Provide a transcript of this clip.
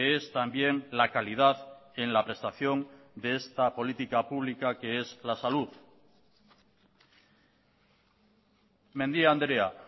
es también la calidad en la prestación de esta política pública que es la salud mendia andrea